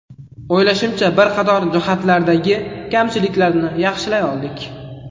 O‘ylashimcha, bir qator jihatlardagi kamchiliklarni yaxshilay oldik.